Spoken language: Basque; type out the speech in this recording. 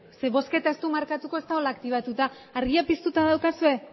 zeren bozketa ez du markatuko ez dagoelako aktibatuta argiak piztuta daukazue